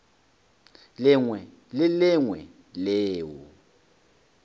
lengwe le le lengwe leo